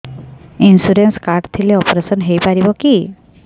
insurance card ଥିଲେ operation ହେଇପାରିବ କି